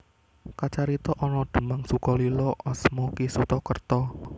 Kacarita ana Demang Sukolilo asma Ki Suta Kerta